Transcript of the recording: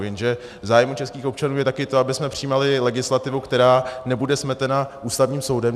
Jenže v zájmu českých občanů je také to, abychom přijímali legislativu, která nebude smetena Ústavním soudem.